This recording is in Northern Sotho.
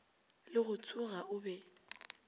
le go tsoga o be